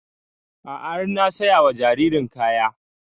A'a har na saya wa jaririn kaya